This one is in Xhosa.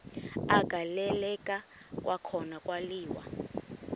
agaleleka kwakhona kwaliwa